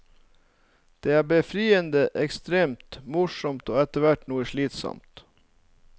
Det er befriende, ekstremt, morsomt og etterhvert noe slitsomt.